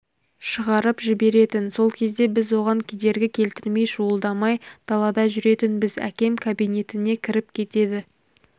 шығарып жіберетін сол кезде біз оған кедергі келтірмей шуылдамай далада жүретінбіз әкем кабинетіне кіріп кетеді